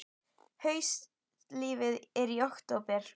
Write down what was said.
Haustfríið er í október.